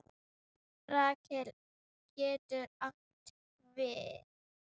Rafael getur átt við